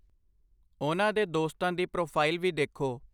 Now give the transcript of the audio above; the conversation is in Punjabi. ਉਹਨਾਂ ਦੇ ਦੋਸਤਾਂ ਦੀ ਪ੍ਰੋਫਾਈਲ ਵੀ ਦੇਖੋ।